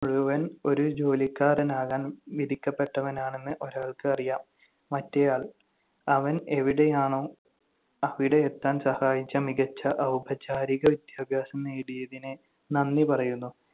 മുഴുവൻ ഒരു ജോലിക്കാരനാകാൻ വിധിക്കപ്പെട്ടവനാണെന്ന് ഒരാൾക്ക് അറിയാം. മറ്റേയാൾ അവൻ എവിടെയാണോ അവിടെ എത്താൻ സഹായിച്ച മികച്ച ഔപചാരിക വിദ്യാഭ്യാസം നേടിയതിന് നന്ദി പറയുന്നു.